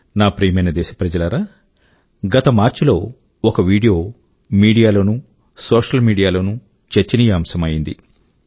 నా ప్రియమైన దేశ ప్రజలారా గత మార్చ్ లో ఒక వీడియో మీడియా లోనూ సోషల్ మీడియా లోనూ చర్చనీయాంశం అయ్యింది